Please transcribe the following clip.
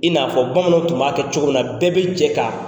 I n'a fɔ bamananw tun b'a kɛ cogo min na, bɛɛ bɛ jɛ k'a